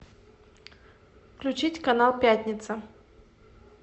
включить канал пятница